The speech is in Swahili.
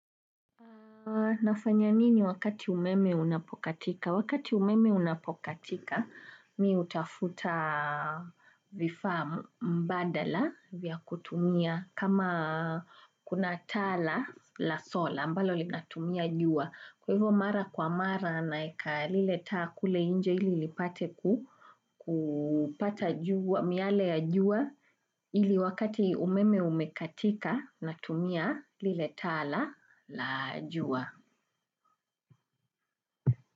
Nafanya nini wakati umeme unapokatika? Wakati umeme unapokatika, mi utafuta vifaa mbadala vya kutumia kama kuna taa la sola ambalo linatumia jua. Kwa hivo mara kwa mara naeka liletaa kule nje ili lipate kupata miale ya jua ili wakati umeme umekatika na tumia lile taa la jua.